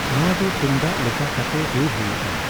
ᱱᱚᱣᱟ ᱫᱚ ᱛᱩᱢᱫᱟᱜ ᱞᱮᱠᱟ ᱠᱟᱛᱮ ᱨᱩᱭ ᱦᱩᱭᱩᱜᱼᱟ ᱾